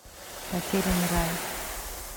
потерянный рай